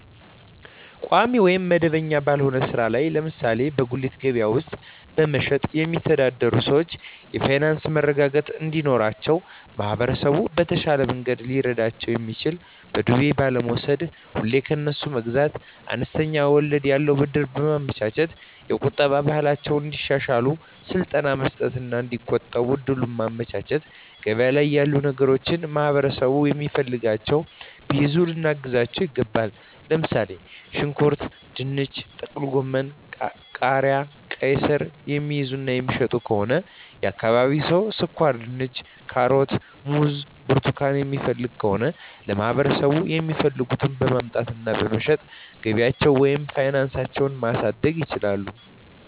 ቋሚ ወይም መደበኛ ባልሆነ ሥራ ላይ (ለምሳሌ በጉሊት ገበያ ውስጥ በመሸጥ)የሚተዳደሩ ሰዎች የፋይናንስ መረጋጋት እንዲኖራቸው ማህበረሰቡ በተሻለ መንገድ ሊረዳቸው የሚችለው በዱቤ ባለመውስድ፤ ሁሌ ከነሱ መግዛት፤ አነስተኛ ወለድ ያለው ብድር በማመቻቸት፤ የቁጠባ ባህላቸውን እንዲያሻሽሉ ስልጠና መስጠት እና እዲቆጥቡ እድሉን ማመቻቸት፤ ገበያ ላይ ያሉ ነገሮችን ማህበረሠቡ የሚፈልገውን ቢይዙ ልናግዛቸው ይገባል። ለምሣሌ፦ ሽንኩርት፤ ድንች፤ ጥቅልጎመን፤ ቃሪያ፤ ቃይስር፤ የሚይዙ እና የሚሸጡ ከሆነ የአካባቢው ሠው ስኳርድንች፤ ካሮት፤ ሙዝ እና ብርቱካን የሚፈልግ ከሆነ ለማህበረሰቡ የሚፈልገውን በማምጣት እና በመሸጥ ገቢያቸውን ወይም ፋናሳቸው ማሣደግ ይችላሉ።